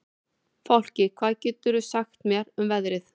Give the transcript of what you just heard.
Fálki, hvað geturðu sagt mér um veðrið?